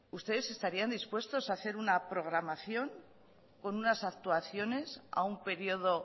ustedes estarían dispuestos a hacer una programación con unas actuaciones aún periodo